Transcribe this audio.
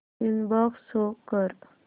inbox show कर